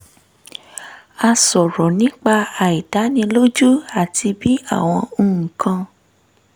a sọ̀rọ̀ nípa àìdánilójú àti bí àwọn nǹkan